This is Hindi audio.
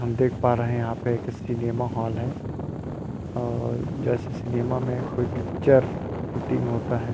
हम देख पा रहे है यहाँ पे सिनेमा हॉल है और जैसे सिनेमा में कोई पिक्चर शूटिंग होता है।